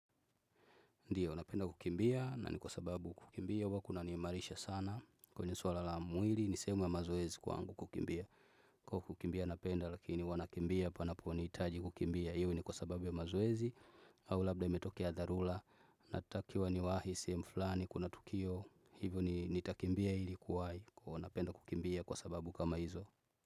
Ndiyo, napenda kukimbia, na ni kwa sababu kukimbia, huwa kunanimarisha sana, kwenye swala la mwili, ni sehemu ya mazoezi kwangu kukimbia. Kwa kukimbia napenda, lakini huwa nakimbia, panaponihitaji kukimbia, iwe ni kwa sababu ya mazoezi, au labda imetokea dharura, natakiwa niwahi, sehemu fllani, kuna tukio, hivyo nitakimbia ilikuwahi, kwa napenda kukimbia kwa sababu kama hizo.